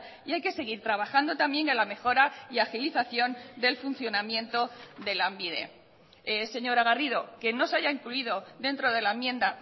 y hay que seguir trabajando también en la mejora y agilización del funcionamiento de lanbide señora garrido que no se haya incluido dentro de la enmienda